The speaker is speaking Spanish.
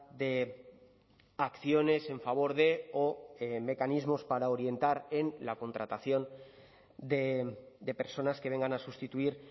de acciones en favor de o mecanismos para orientar en la contratación de personas que vengan a sustituir